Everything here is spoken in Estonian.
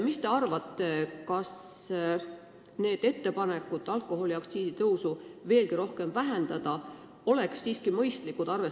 Mis te arvate, vahest on ettepanek alkoholiaktsiisi tõusu veelgi rohkem vähendada siiski mõistlik?